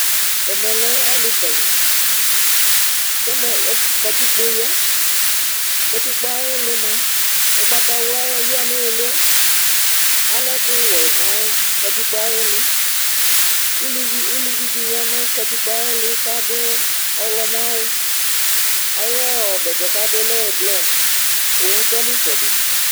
Ɛmɛ lɛ ali kali, kɛmɛ katikpoyaKatikpo ayi ilĩ mua ugbata wlua yani iliɛ Alɛ ɛku wuɛnu katikpo ayi ilĩ Uluvi di katikpo ayi ilĩ kadu ɔwlɔ ŋlɔwu, ayu bɛtɛ kuadu alɛ ɛblɔ, owu tɔ ni itsɛdi